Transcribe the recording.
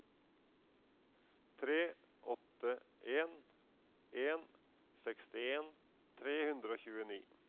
tre åtte en en sekstien tre hundre og tjueni